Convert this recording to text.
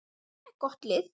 Þetta er gott lið.